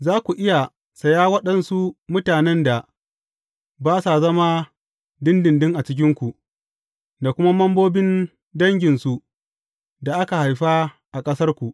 Za ku iya saya waɗansu mutanen da ba sa zama ɗinɗinɗin a cikinku, da kuma membobin danginsu da aka haifa a ƙasarku.